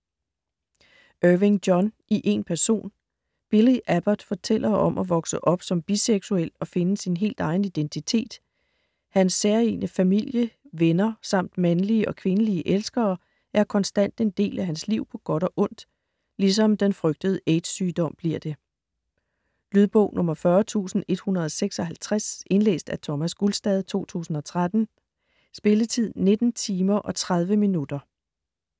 Irving, John: I én person Billy Abbot fortæller om at vokse op som biseksuel og finde sin helt egen identitet. Hans særegne familie, venner samt mandlige og kvindelige elskere er konstant en del af hans liv på godt og ondt, ligesom den frygtede AIDS-sygdom bliver det. Lydbog 40156 Indlæst af Thomas Gulstad, 2013. Spilletid: 19 timer, 30 minutter.